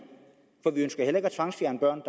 for vi ønsker heller ikke at tvangsfjerne børn